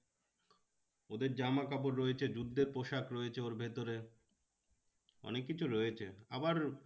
ওদের জামা কাপড় রয়েছে যুদ্ধের পোশাক রয়েছে ওর ভেতরে অনেক কিছু রয়েছে আবার